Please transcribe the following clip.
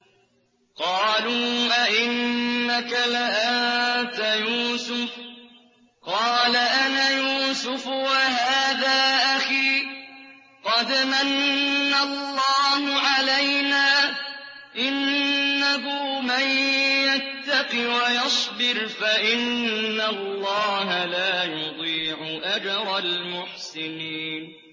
قَالُوا أَإِنَّكَ لَأَنتَ يُوسُفُ ۖ قَالَ أَنَا يُوسُفُ وَهَٰذَا أَخِي ۖ قَدْ مَنَّ اللَّهُ عَلَيْنَا ۖ إِنَّهُ مَن يَتَّقِ وَيَصْبِرْ فَإِنَّ اللَّهَ لَا يُضِيعُ أَجْرَ الْمُحْسِنِينَ